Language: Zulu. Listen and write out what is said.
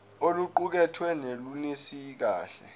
oluqukethwe lunelisi kahle